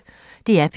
DR P1